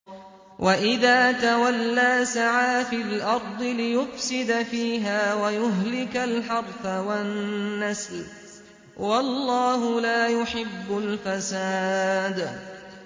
وَإِذَا تَوَلَّىٰ سَعَىٰ فِي الْأَرْضِ لِيُفْسِدَ فِيهَا وَيُهْلِكَ الْحَرْثَ وَالنَّسْلَ ۗ وَاللَّهُ لَا يُحِبُّ الْفَسَادَ